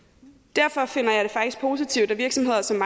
derfor finder jeg det faktisk positivt at virksomheder som